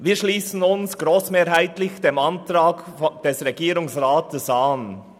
Wir schliessen uns grossmehrheitlich dem Antrag des Regierungsrats an.